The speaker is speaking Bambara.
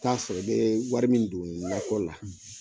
I t'a sɔrɔ ye wari min don nakɔ la;